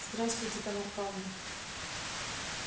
здравствуйте тамар пална